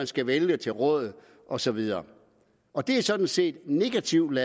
skal vælges til råd og så videre og det er sådan set negativt